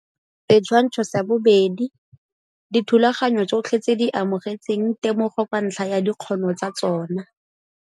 Setswanatsho sa 2 - Dithulaganyo tsotlhe tse di amogetseng temogo ka ntlha ya dikgono tsa tsona.